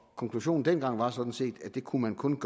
konklusionen dengang var sådan set at det kun kunne